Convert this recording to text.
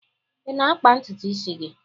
Ị na-akpa ntutu isi gị?